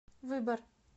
выбор